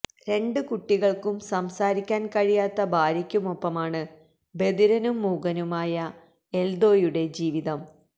രണ്ടു കുട്ടികള്ക്കും സംസാരിക്കാന് കഴിയാത്ത ഭാര്യയ്ക്കുമൊപ്പമാണ് ബധിരനും മൂകനുമായ എല്ദോയുടെ ജീവിതം